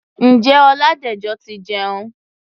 Ǹjẹ́ Ọládẹ̀jọ ti jẹun?